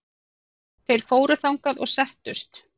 Þeir fóru þangað og settust.